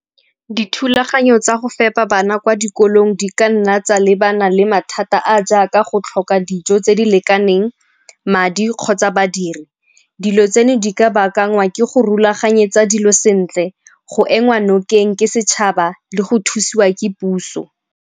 Dithulaganyo tsa go fepa bana kwa dikolong di ka nna tsa lebana le mathata a a jaaka go tlhoka dijo tse di lekaneng, madi kgotsa badiri. Dilo tseno di ka baakangwa ke go rulaganyetsa dilo sentle, go ema nokeng ke setšhaba le go thusiwa ke puso.